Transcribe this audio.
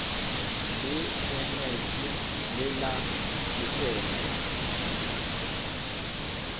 le eneji le la dikgwebo